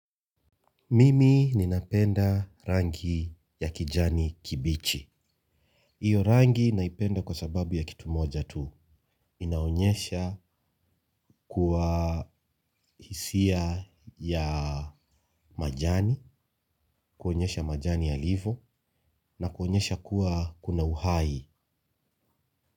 Mimi ninapenda rangi ya kijani kibichi hiyo rangi naipenda kwa sababu ya kitu moja tu inaonyesha kuwa hisia ya majani, kuonyesha majani yalivo na kuonyesha kuwa kuna uhai.